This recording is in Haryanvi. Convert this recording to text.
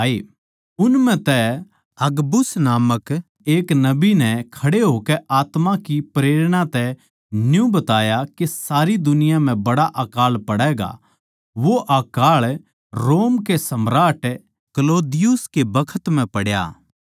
उन म्ह तै अगबुस नामक एक नबी नै खड़े होकै आत्मा की प्रेरणा तै न्यू बताया के सारी दुनिया म्ह बड्ड़ा अकाळ पड़ैगा वो अकाळ रोम के सम्राट क्लौदियुस के बखत म्ह पड्या